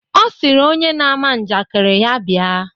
Ọ sịrị onye na-ama njakịrị ya bịa.